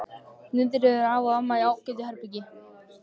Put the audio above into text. Niðri eru afi og amma í ágætu herbergi.